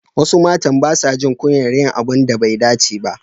Wasu matan basa jin kunyar yin abun da bai dace ba.